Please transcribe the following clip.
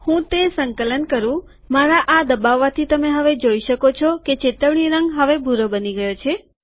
હું તે સંકલન કરું મારા આ દબાવવાથી તમે હવે જોઈ શકો છો કે ચેતવણી રંગ હવે ભૂરો બની ગયો છે